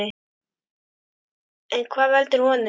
En hvað veldur honum?